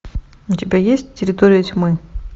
у тебя есть территория тьмы